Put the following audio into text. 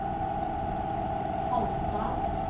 Haltdalen